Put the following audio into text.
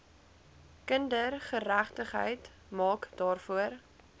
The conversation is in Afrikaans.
kindergeregtigheid maak daarvoor